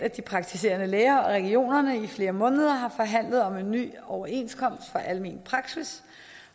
at de praktiserende læger og regionerne i flere måneder har forhandlet om en ny overenskomst for almen praksis